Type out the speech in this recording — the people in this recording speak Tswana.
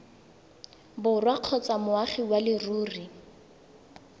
borwa kgotsa moagi wa leruri